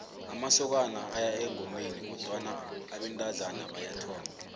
amasokana aya engomeni kodwana abentazana bayathomba